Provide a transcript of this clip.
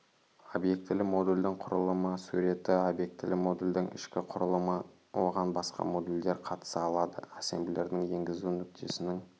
обьектілі модульдің құрылымы суреті объектілі модульдің ішкі құрылымы оған басқа модульдер қатыса алады ассемблердің енгізу нүктесінің